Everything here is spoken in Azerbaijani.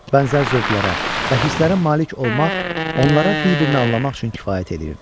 Bənzər zövqlərə və hisslərə malik olmaq onlara bir-birini anlamaq üçün kifayət eləyirdi.